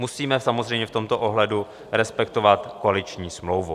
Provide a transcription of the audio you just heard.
Musíme samozřejmě v tomto ohledu respektovat koaliční smlouvu.